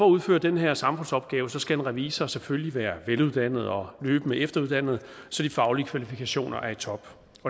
udføre den her samfundsopgave skal en revisor selvfølgelig være veluddannet og løbende efteruddannet så de faglige kvalifikationer er i top